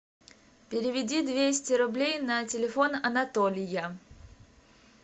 переведи двести рублей на телефон анатолия